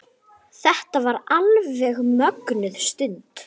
Þetta var alveg mögnuð stund.